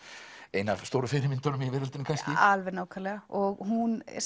ein af stóru fyrirmyndunum í veröldinni kannski nákvæmlega og hún